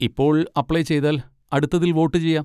ഇപ്പോൾ അപ്ലൈ ചെയ്താൽ അടുത്തതിൽ വോട്ട് ചെയ്യാം.